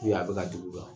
a bɛ ka dugu